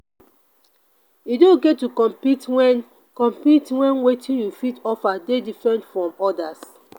e de okay to compete when compete when wetin you fit offer dey different from others